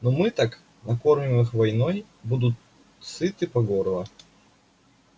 ну мы так накормим их войной будут сыты по горло